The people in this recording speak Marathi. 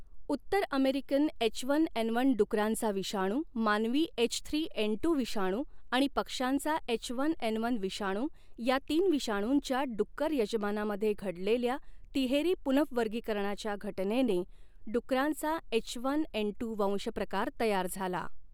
उत्तर American H one N one डुकरांचा विषाणू, मानवी एच थ्री एन टू विषाणू आणि पक्ष्यांचा एच वन एन वन विषाणू या तीन विषाणूंच्या, डुक्कर यजमानामध्ये घडलेल्या तिहेरी पुनहवर्गीकरणाच्या घटनेने, डुकरांचा एचवनएनटू वंशप्रकार तयार झाला.